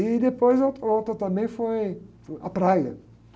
E depois a outra, outra também foi uh, a praia.